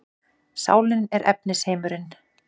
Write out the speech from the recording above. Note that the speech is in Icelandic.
Sálin og efnisheimurinn